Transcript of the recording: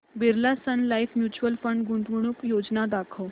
Birla Sun Life Mutual Fund गुंतवणूक योजना दाखव